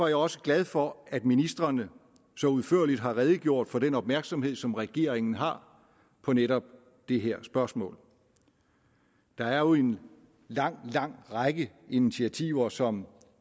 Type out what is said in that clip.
jeg også glad for at ministrene så udførligt har redegjort for den opmærksomhed som regeringen har på netop det her spørgsmål der er jo en lang lang række initiativer som